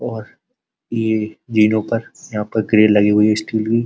और ये जिनो पर यहां पर ग्रील लगी हुई है स्टील की --